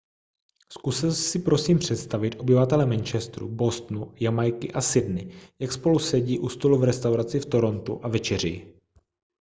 zkuste si prosím představit obyvatele manchesteru bostonu jamajky a sydney jak spolu sedí u stolu v restauraci v torontu a večeří